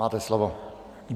Máte slovo.